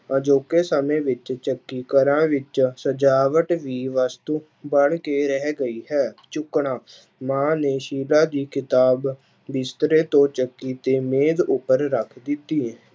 ਅਜੌਕੇ ਸਮੇਂ ਵਿੱਚ ਚੱਕੀ ਘਰਾਂ ਵਿੱਚ ਸਜਾਵਟ ਦੀ ਵਸਤੂ ਬਣ ਕੇ ਰਹਿ ਗਈ ਹੈ ਚੁੱਕਣਾ, ਮਾਂ ਨੇ ਸ਼ੀਲਾ ਦੀ ਕਿਤਾਬ ਬਿਸਤਰੇ ਤੋਂ ਚੁੱਕੀ ਤੇ ਮੇਜ ਉੱਪਰ ਰੱਖ ਦਿੱਤੀ।